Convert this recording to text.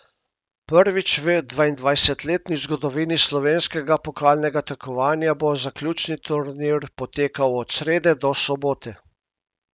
Prvič v dvaindvajsetletni zgodovini slovenskega pokalnega tekmovanja bo zaključni turnir potekal od srede do soboto.